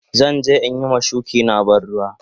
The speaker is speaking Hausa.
Zan je in yi ma shuki na ban ruwa.